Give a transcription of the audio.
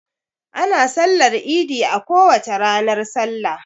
Ana sallar idi a kowace ranar salla.